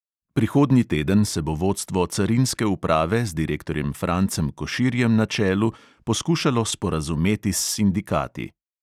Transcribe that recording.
Prihodnji teden se bo vodstvo carinske uprave z direktorjem francem koširjem na čelu poskušalo sporazumeti s sindikati.